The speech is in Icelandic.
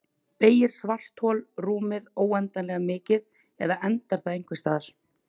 Beygir svarthol rúmið óendanlega mikið eða endar það einhvers staðar?